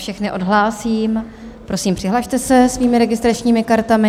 Všechny odhlásím, prosím, přihlaste se svými registračními kartami.